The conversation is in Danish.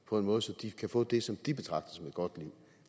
på en måde så de kan få det som de betragter som et godt liv